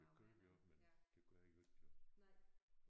Det gør vi også men det gør I jo ikke jo